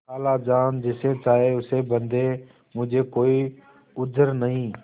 खालाजान जिसे चाहें उसे बदें मुझे कोई उज्र नहीं